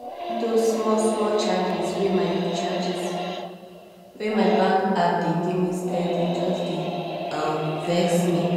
because um say she dey tell herself say "i fit um manage my moni" na watin give her dis kind confidence